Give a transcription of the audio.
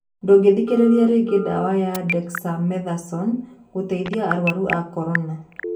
Ndũngĩthikĩrĩria rĩngĩ ndawa ya Dexamethasone gũteithia arwaru a Corona